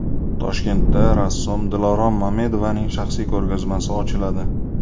Toshkentda rassom Dilorom Mamedovaning shaxsiy ko‘rgazmasi ochiladi.